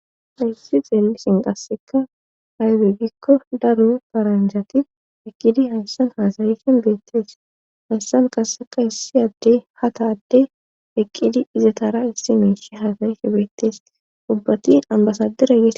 Issi xeelisin qasseka hayde gikko daru paranjati eqqidi hayssan haasayisin beettees hayssan kasseka issi adde hata adde eqqidi izatara issi meeshi hasayife beettesi dubbatin ambasadera.